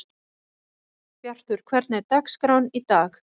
Bjartur, hvernig er dagskráin í dag?